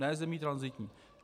Ne zemí tranzitní.